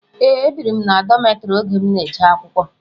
Ee, ebiri m na dọmetiri oge m n'eje akwụkwọ.